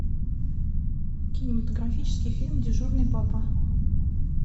кинематографический фильм дежурный папа